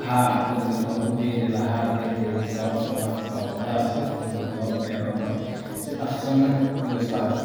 Haa, courgette waan ku beeri lahaa beertayda sababtoo ah waa khudaar si fudud loo beeri karo, si dhaqso ahna u bislaata.